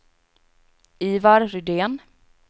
Ivar Rydén